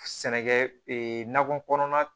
Sɛnɛkɛ nakɔ kɔnɔna